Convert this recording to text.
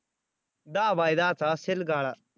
दहा बाय दहाचा असेल गाळा